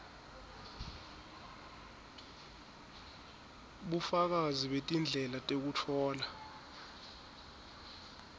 bufakazi betindlela tekutfola